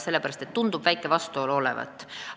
Tundub tõesti väike vastuolu olevat.